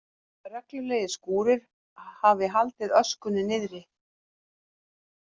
Reglulegir skúrir hafi haldið öskunni niðri